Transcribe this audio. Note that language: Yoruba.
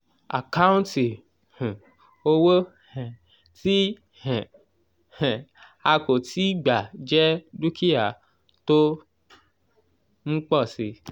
àkáǹtì um owó um tí um um a kò tíì gbà jẹ dúkìá tó ń pọ̀ síi.